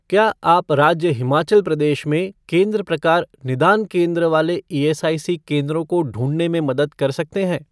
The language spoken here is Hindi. क्या आप राज्य हिमाचल प्रदेश में केंद्र प्रकार निदान केंद्र वाले ईएसआईसी केंद्रों को ढूँढने में मदद कर सकते हैं?